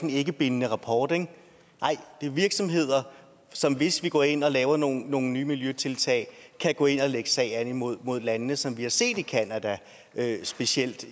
en ikkebindende rapport nej det er virksomheder som hvis vi går ind og laver nogle nogle nye miljøtiltag kan gå ind og lægge sag an imod landene som vi har set det i canada specielt